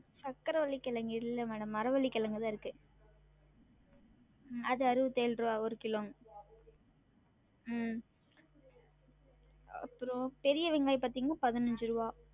சக்கரவள்ளி கெழங்கு இல்ல madam மரவள்ளி கெழங்கு தான் இருக்கு உம் அது அறுவத்தேழு ருவா ஒரு கிலோங்க உம் அப்றம் பெரிய வெங்காயம் பாத்திங்கன்னா பதினஞ்சு ருவா